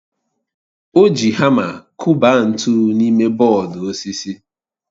O ji hama kụba ntu n'ime bọọdụ osisi